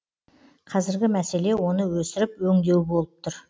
қазіргі мәселе оны өсіріп өңдеу болып тұр